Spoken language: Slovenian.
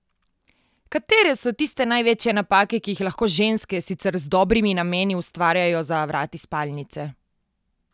Katere so tiste največje napake, ki jih lahko ženske, sicer z dobrimi nameni, ustvarjajo za vrati spalnice?